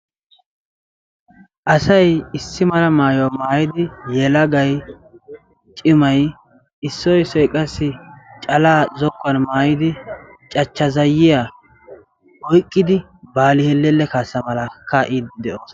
Asay issi mala maayuwa maayidi yelagay cimay issoy issoy qassi calaa zokkuwan maayidi cachcha zayiya oyqqidi baali hellella kaassa malaa kaa'iiddi de'oosona.